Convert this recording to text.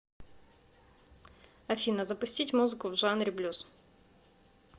афина запустить музыку в жанре блюз